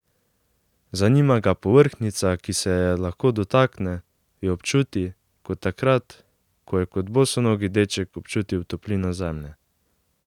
Zanima ga povrhnjica, ki se je lahko dotakne, jo občuti, kot takrat, ko je kot bosonogi deček občutil toplino zemlje.